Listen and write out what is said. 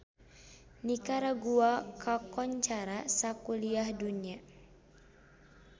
Nikaragua kakoncara sakuliah dunya